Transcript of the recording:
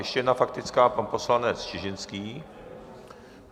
Ještě jedna faktická - pan poslanec Čižinský.